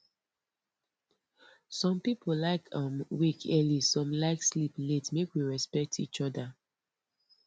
some people like um wake early some like sleep late make we respect each other